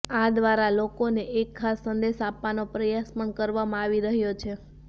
આ દ્વારા લોકોને એક ખાસ સંદેશ આપવાનો પ્રયાસ પણ કરવામાં આવી રહ્યો છે